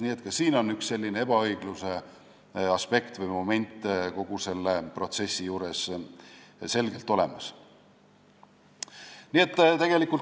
Nii et ka siin on üks selline ebaõigluse aspekt kogu selle protsessi juures selgelt olemas.